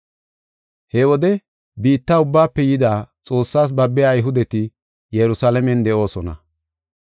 He wode biitta ubbaafe yida Xoossas babbiya Ayhudeti Yerusalaamen de7oosona.